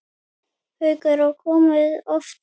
Haukur: Og komið oft kannski?